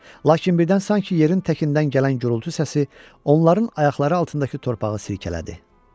Lakin birdən sanki yerin təkindən gələn gurultu səsi onların ayaqları altındakı torpağı sirkələdi.